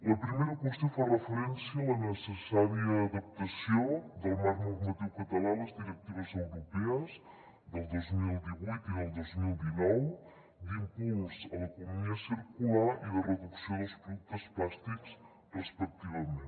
la primera qüestió fa referència a la necessària adaptació del marc normatiu català a les directives europees del dos mil divuit i del dos mil dinou d’impuls a l’economia circular i de reducció dels productes plàstics respectivament